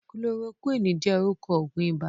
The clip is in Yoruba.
Kulorokúwìnì jẹ́ orúkọ Ògùn iba